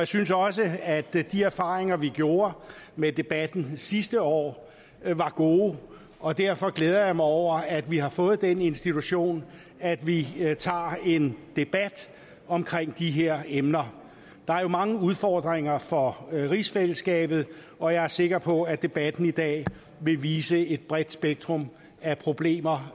synes også at de erfaringer vi gjorde med debatten sidste år var gode og derfor glæder jeg mig over at vi har fået den institution at vi tager en debat om de her emner der er jo mange udfordringer for rigsfællesskabet og jeg er sikker på at debatten i dag vil vise et bredt spektrum af problemer